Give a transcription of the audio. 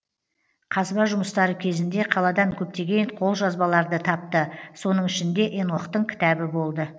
қазба жұмыстары кезінде қаладан көптеген қолжазбаларды тапты соның ішінде енохтың кітабы болды